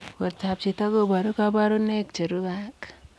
Portoop chitoo kobaruu kabarunaik cherubei ak